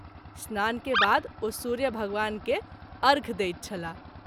स्नान के बाद ओ सूर्य भगवान के अर्घ्य दैत छलाह।